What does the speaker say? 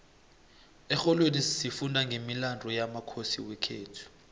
exholweni sifunda nqemilandu yamakhosi wekhethu